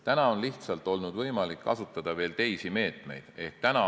Praegu on lihtsalt olnud võimalik kasutada veel teisi meetmeid.